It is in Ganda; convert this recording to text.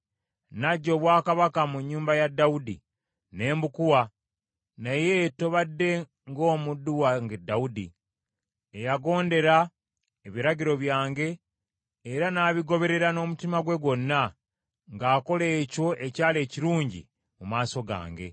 Naggya obwakabaka mu nnyumba ya Dawudi, ne mbukuwa, naye tobadde ng’omuddu wange Dawudi, eyagondera ebiragiro byange era n’abigoberera n’omutima gwe gwonna, ng’akola ekyo ekyali ekirungi mu maaso gange.